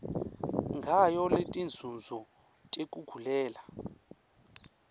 ngayo netinzunzo tekugulela